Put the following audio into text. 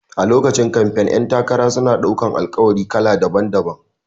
A lokacin kamfen ƴan takara suna ɗaukan Alƙawari kala daban-daban